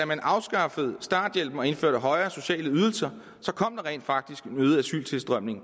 man afskaffede starthjælpen og indførte højere sociale ydelser så rent faktisk kom en øget asyltilstrømning